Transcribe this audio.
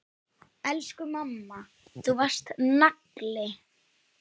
Elsku amma, þú varst nagli.